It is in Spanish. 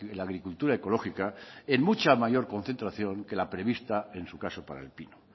la agricultura ecológica en mucha mayor concentración que la prevista en su caso para el pino